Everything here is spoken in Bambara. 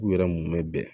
K'u yɛrɛ munnen bɛn